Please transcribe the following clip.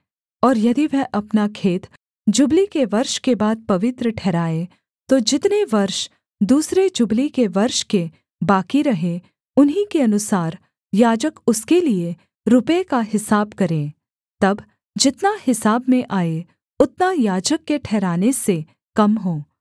और यदि वह अपना खेत जुबली के वर्ष के बाद पवित्र ठहराए तो जितने वर्ष दूसरे जुबली के वर्ष के बाकी रहें उन्हीं के अनुसार याजक उसके लिये रुपये का हिसाब करे तब जितना हिसाब में आए उतना याजक के ठहराने से कम हो